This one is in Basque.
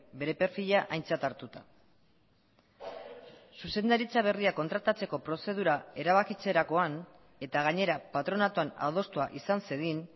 bere perfila aintzat hartuta zuzendaritza berria kontratatzeko prozedura erabakitzerakoan eta gainera patronatuan adostua izan zedin